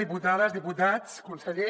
diputades diputats conseller